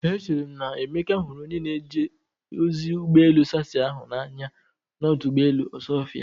Echere m na Emeka hụrụ onye na-eje ozi ụgbọ elu sassy ahụ n'anya n'ọdụ ụgbọ elu Osuofia.